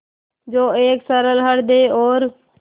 जो एक सरल हृदय और